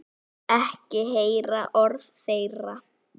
Vil ekki heyra orð þeirra.